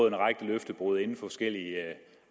en række løftebrud inden for forskellige